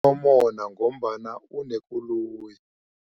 Unomona ngombana unekoloyi.